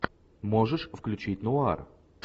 можешь включить нуар